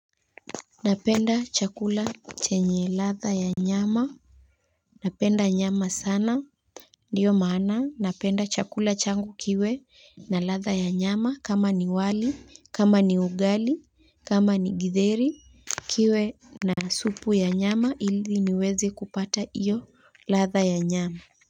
Ninapenda chakula chenye ladha ya nyama. Ninapenda nyama sana. Ndiyo maana ninapenda chakula changu kiwe na ladha ya nyama kama ni wali kama ni ugali kama ni githeri kiwe na supu ya nyama ili niweze kupata hiyo ladha ya nyama. Kwa hivyo.